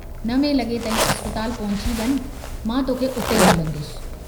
नवें लगे ताईं अस्पताल पहुची वञ मां तोखे उते ई मिलंदुस।